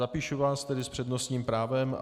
Zapíšu vás tedy s přednostním právem.